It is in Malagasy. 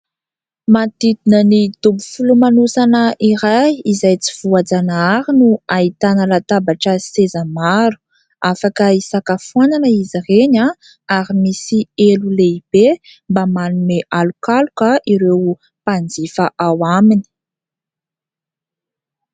Manodidina ny dobo filomanosana iray izay tsy voajanahary no ahitana latabatra sy seza maro; afaka hisakafoanana izy ireny an; ary misy elo lehibe mba manome alokaloka ireo mpanjifa ao aminy.